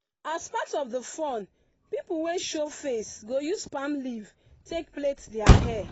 as part of the fun pipu wey show face go use palm leaf take plait their hair.